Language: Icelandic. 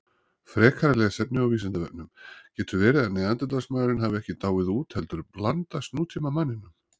Frekara lesefni á Vísindavefnum: Getur verið að Neanderdalsmaðurinn hafi ekki dáið út heldur blandast nútímamanninum?